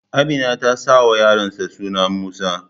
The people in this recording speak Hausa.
Amina ta sauwa yaron ta suna Musa